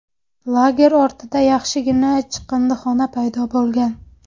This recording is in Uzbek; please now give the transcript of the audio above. Lager ortida yaxshigina chiqindixona paydo bo‘lgan.